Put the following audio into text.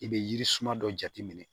I bɛ yiri suma dɔ jateminɛ